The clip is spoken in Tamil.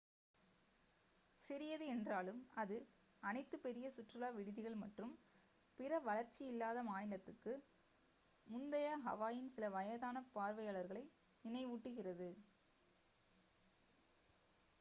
சிறியது என்றாலும் அது அனைத்து பெரிய சுற்றுலா விடுதிகள் மற்றும் பிற வளர்ச்சி இல்லாத மாநிலத்துக்கு முந்தைய ஹவாயின் சில வயதான பார்வையாளர்களை நினைவூட்டுகிறது